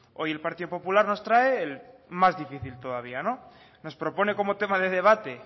hoy el partido popular nos trae el más difícil todavía nos propone como tema de debate